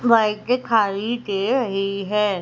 बाइके खारी दे रही है।